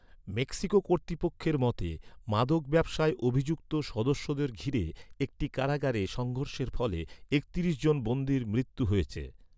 Mexico কর্তৃপক্ষের মতে, মাদক ব্যবসায় অভিযুক্ত সদস্যদের ঘিরে একটি কারাগারে সংঘর্ষের ফলে একত্রিশ জন বন্দীর মৃত্যু হয়েছে।